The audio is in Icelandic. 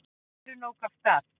Maðurinn ók af stað.